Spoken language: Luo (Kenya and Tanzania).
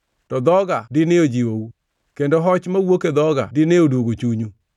To dhoga dine ojiwou; kendo hoch mawuok e dhoga dine odwogo chunyu.